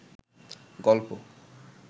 গলপ